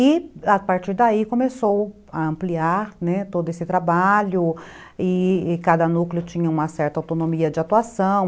E, a partir daí, começou a ampliar todo esse trabalho e cada núcleo tinha uma certa autonomia de atuação.